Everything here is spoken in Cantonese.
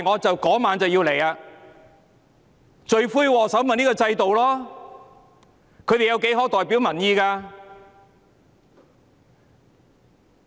罪魁禍首是這個制度，他們何曾代表民意？